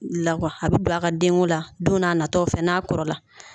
Lagua, a bɛ don a ka den ko la don na nata ɔ fɛ n'a kɔrɔ la.